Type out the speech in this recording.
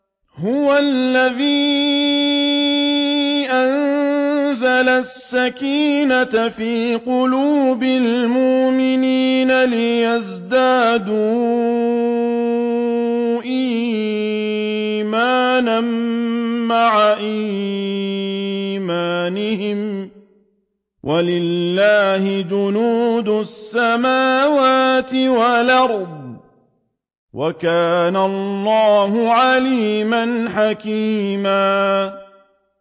هُوَ الَّذِي أَنزَلَ السَّكِينَةَ فِي قُلُوبِ الْمُؤْمِنِينَ لِيَزْدَادُوا إِيمَانًا مَّعَ إِيمَانِهِمْ ۗ وَلِلَّهِ جُنُودُ السَّمَاوَاتِ وَالْأَرْضِ ۚ وَكَانَ اللَّهُ عَلِيمًا حَكِيمًا